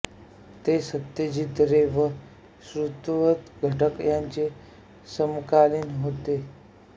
ते सत्यजित रे व ऋत्विक घटक यांचे समकालीन होते